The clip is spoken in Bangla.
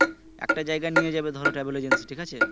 একটা জায়গায় নিয়ে যাবে ধরো travel agency থেকে ঠিক আছে